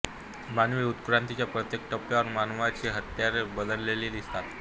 मानवी उत्क्रांतीच्या प्रत्येक टप्प्यावर मानवाची हत्यारे बदललेली दिसतात